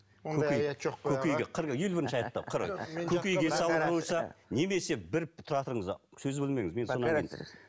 ондай аят жоқ қой аға қырық елу бірінші аятта көкейге салу болса немесе бір тұра тұрыңыздар сөзді бөлмеңіз